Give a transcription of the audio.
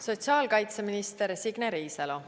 Sotsiaalkaitseminister Signe Riisalo.